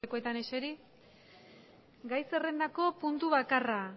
lekuetan eseri gai bakarra